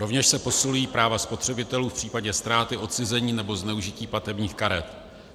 Rovněž se posilují práva spotřebitelů v případě ztráty, odcizení, nebo zneužití platebních karet.